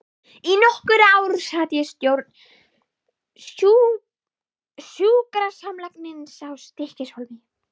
Í nokkur ár sat ég í stjórn sjúkrasamlagsins í Stykkishólmi.